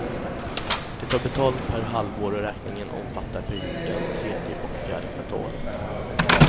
De tar betalt per halvår och räkningen omfattar perioden tredje och fjärde kvartalet.